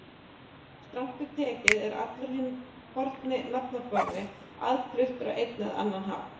Strangt til tekið er allur hinn forni nafnaforði aðfluttur á einn eða annan hátt.